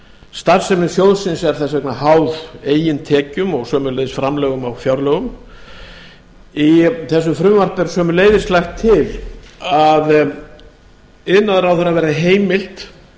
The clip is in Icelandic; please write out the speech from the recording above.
starfsemi sjóðsins er þess vegna háð eigin tekjum og framlögum á fjárlögum í þessu frumvarpi er sömuleiðis lagt til að iðnaðarráðherra verði heimilt